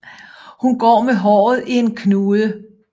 Hun går med håret i en knude